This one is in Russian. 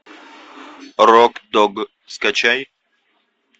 рок дог скачай